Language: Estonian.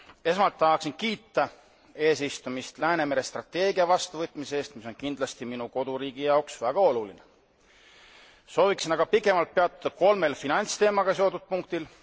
Esmalt tahaksin kiita eesistujat Läänemere strateegia vastuvõtmise eest, mis on kindlasti minu koduriigi jaoks väga oluline. Sooviksin aga pikemalt peatuda kolmel finantsteemaga seotud punktil.